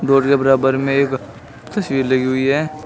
Board के बराबर में एक तस्वीर लगी हुई है।